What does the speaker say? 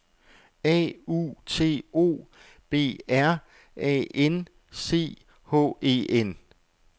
A U T O B R A N C H E N